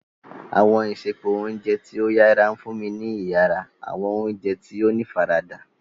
Awọn isẹpo ounjẹ ti o yara nfunni ni iyara, awọn oúnjẹ tí o ní ifarada.